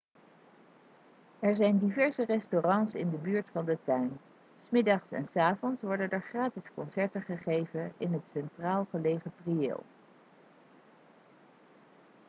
er zijn diverse restaurants in de buurt van de tuin s middags en s avonds worden er gratis concerten gegeven in het centraal gelegen prieel